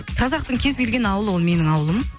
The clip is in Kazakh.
қазақтың кез келген ауылы ол менің ауылым